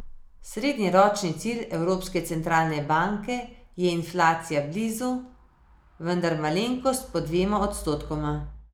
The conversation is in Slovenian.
Srednjeročni cilj Evropske centralne banke je inflacija blizu, vendar malenkost pod dvema odstotkoma.